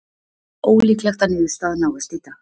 Ólíklegt að niðurstaða náist í dag